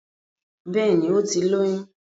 Bẹ́ẹ̀ni, ó ti lóyún